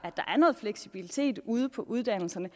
er noget fleksibilitet ude på uddannelserne